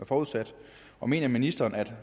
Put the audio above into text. forudsat og mener ministeren at